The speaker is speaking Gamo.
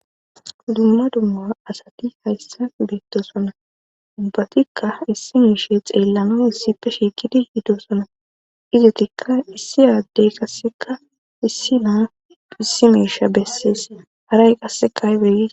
dumma dumma asati hayssa beettosona ubbatikka issi miishe xeellano issippe shiikidi yidosona izetikka issi yaaddey kasseka issi naa issi miisha bessees haray qassekahibedidi